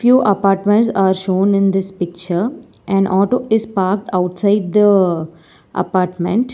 Few apartments are shown in this picture and auto is parked outside the apartment.